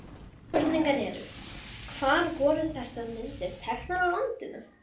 Spurningarnar eru: Hvar voru þessar myndir teknar á landinu?